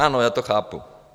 Ano, já to chápu.